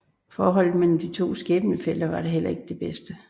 Forholdet mellem de to skæbnefæller var da heller ikke det bedste